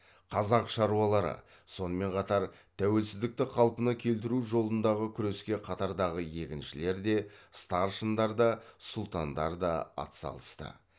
қазақ шаруалары сонымен қатар тәуелсіздікті қалпына келтіру жолындағы күреске қатартағы егіншілер де старшындар да сұлтандар да ат салысты